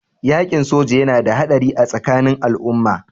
Yaƙin soji yana da haɗari a tsakanin al'umma.